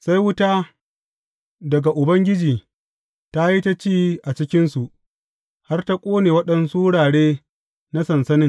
Sai wuta daga Ubangiji ta yi ta ci a cikinsu har ta ƙone waɗansu wurare na sansanin.